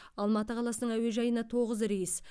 алматы қаласының әуежайына тоғыз рейс